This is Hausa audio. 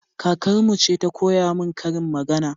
Kakarmu ce ta koya min karin magana